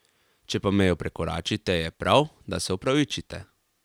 Če pa mejo prekoračite, je prav, da se opravičite.